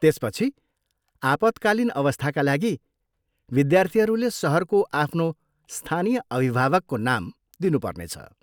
त्यसपछि, आपतकालीन अवस्थाका लागि विद्यार्थीहरूले सहरको आफ्नो स्थानीय अभिभावकको नाम दिनु पर्नेछ।